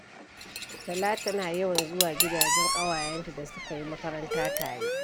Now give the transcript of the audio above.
Talatu tana yawan zuwa gidanjen ƙawayenta da suka yi makaranta tare.